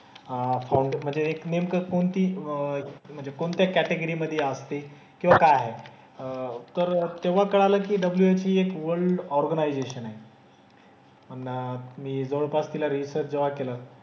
अह फाउंड म्हणजे नेमकं कोणती म्हणजे कोणत्या कॅटेगरी मधे असते किंवा काय आहे. अह तर तेव्हा कळालं की WHO हि एक वल्ड ऑर्गनाईझेशन आहे. अन मी जवळपास तिला रीसर्च जेव्हा केलं,